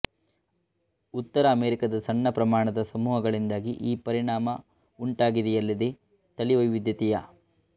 ಉತ್ತರ ಅಮೆರಿಕಾದ ಸಣ್ಣ ಪ್ರಮಾಣದ ಸಮೂಹಗಳಿಂದಾಗಿ ಈ ಪರಿಣಾಮ ಉಂಟಾಗಿದೆಯಲ್ಲದೇ ತಳಿವೈವಿಧ್ಯತೆಯ